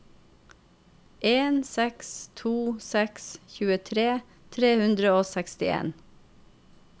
en seks to seks tjuetre tre hundre og sekstien